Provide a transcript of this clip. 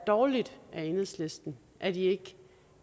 dårligt af enhedslisten at de ikke